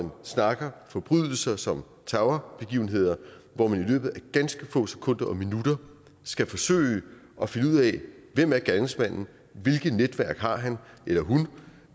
vi snakker forbrydelser som terrorbegivenheder hvor man i løbet af ganske få sekunder og minutter skal forsøge at finde ud af hvem er gerningsmanden hvilke netværk har han eller hun